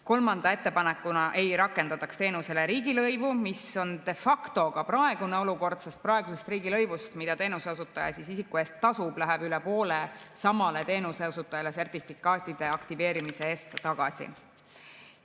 Kolmanda ettepanekuna ei rakendataks teenusele riigilõivu, mis on de facto ka praegune olukord, sest praegusest riigilõivust, mida teenuseosutaja isiku eest tasub, läheb üle poole samale teenuseosutajale sertifikaatide aktiveerimise eest tagasi.